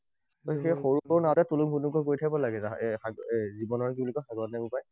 তাকে সৰু সৰু তুলুং ভুতুংকৈ গৈ থাকিব লাগে জীৱনত কি বুলি কয়? সাগৰত নে কি কয়?